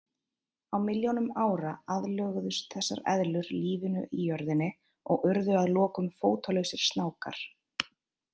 Á milljónum ára aðlöguðust þessar eðlur lífinu í jörðinni og urðu að lokum fótalausir snákar.